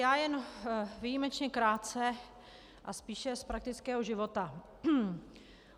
Já jen výjimečně krátce a spíš z praktického života.